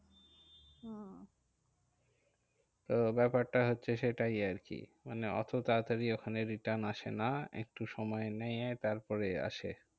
তো ব্যাপারটা হচ্ছে সেটাই আরকি মানে ওতো তারাতারি ওখানে return আসে না, একটু সময় নিয়ে তারপরে আসে।